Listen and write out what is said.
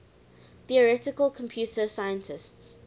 theoretical computer scientists